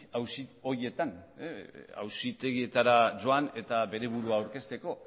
auzi horietan auzitegietara joan eta bere burua aurkezteko